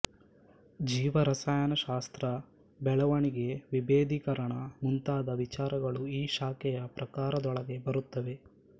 ಜೀವರಸಾಯನ ಶಾಸ್ತ್ರ ಬೆಳವಣಿಗೆ ವಿಭೇದೀಕರಣ ಮುಂತಾದ ವಿಚಾರಗಳೂ ಈ ಶಾಖೆಯ ಪ್ರಕಾರದೊಳಗೆ ಬರುತ್ತವೆ